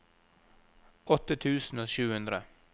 åtte tusen og sju hundre